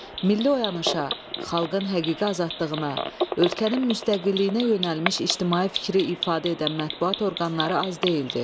Milli oyanışa, xalqın həqiqi azadlığına, ölkənin müstəqilliyinə yönəlmiş ictimai fikri ifadə edən mətbuat orqanları az deyildi.